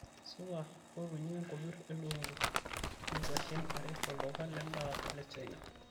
supa mbotunye nkopir e lukunku o kwashen are tolduka lendaa le china